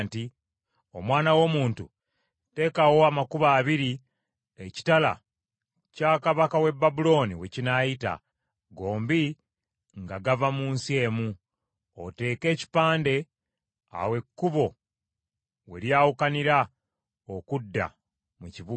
“Omwana w’omuntu, teekawo amakubo abiri ekitala kya kabaka w’e Babulooni we kinaayita, gombi nga gava mu nsi emu. Oteeke ekipande, awo ekkubo we lyawukanira okudda mu kibuga.